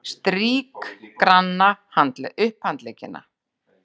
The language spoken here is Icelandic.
Strýk granna upphandleggina.